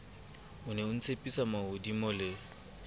ne o ntshepisa mahodimo le